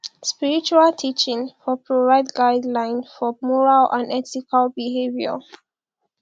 spiritual teaching for provide guideline for moral and ethical behaviour